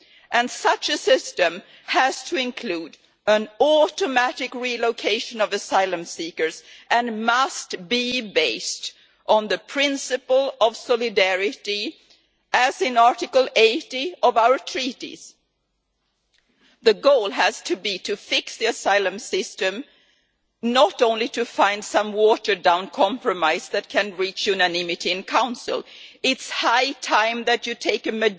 And such a system has to include automatic relocation of asylum seekers and must be based on the principle of solidarity, as in Article 80 of our Treaties. The goal has to be to fix the asylum system, not merely to find some watered down compromise that can reach unanimity in Council. It is high time that you take